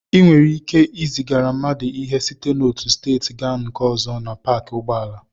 Ị nwere ike izigara mmadụ ihe site n'otu steeti gaa na nke ọzọ na paakị ụgbọala.